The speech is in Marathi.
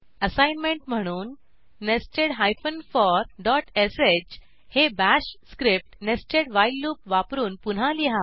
असाईनमेंट म्हणून नेस्टेड for डॉट श हे bash script nested while loop वापरून पुन्हा लिहा